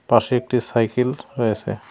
পাশে একটি সাইকেল রয়েছে।